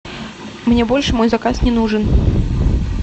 мне больше мой заказ не нужен